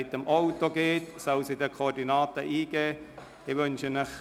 Wer mit dem Auto hinfährt, soll die Koordinaten ins Navigationsgerät eingeben.